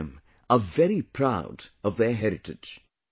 All of them are very proud of their heritage